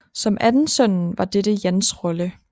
Som anden sønnen var dette Jans rolle